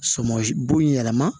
Sɔmɔ bo in yɛlɛma